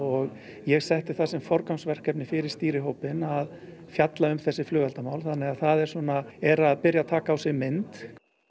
ég setti það sem forgangsverkefni fyrir stýrihópinn að fjalla um þessi flugeldamál þannig að það svona er að taka á sig mynd